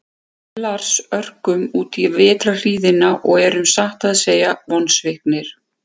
Við Lars örkum útí vetrarhríðina og erum satt að segja vonsviknir.